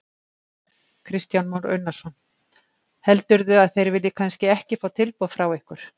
Kristján Már Unnarsson: Heldurðu að þeir vilji kannski ekki fá tilboð frá ykkur?